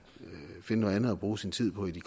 finde noget andet at bruge sin tid på i de